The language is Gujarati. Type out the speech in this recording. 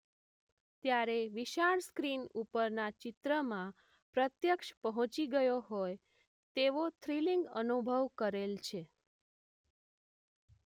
ત્યારે વિશાળ સ્ક્રીન ઉપરના ચિત્રમાં પ્રત્યક્ષ પહોંચી ગયો હોય તેવો થ્રીલીંગ અનુભવ કરેલ છે.